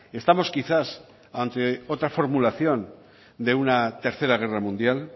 estamos quizás ante otra formulación de una tercera guerra mundial